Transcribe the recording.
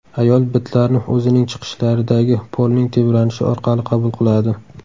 Ayol bitlarni o‘zining chiqishlaridagi polning tebranishi orqali qabul qiladi.